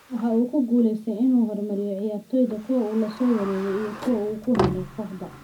Waxa uu ku guuleystay inuu horumariyo ciyaartoyda - kuwa uu la soo wareegay iyo kuwa uu ku helay kooxda.